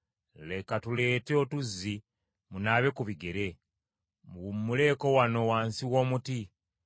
Leka tuleete otuzzi munaabe ku bigere, muwummuleko wano wansi w’omuti,